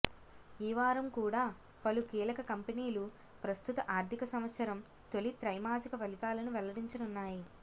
ఈ వారం కూడా పలు కీలక కంపెనీలు ప్రస్తుత ఆర్థిక సంవత్సరం తొలి త్రైమాసిక ఫలితాలను వెల్లడించనున్నాయి